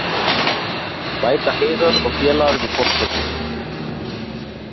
Bæta Heiðar og félagar við forskotið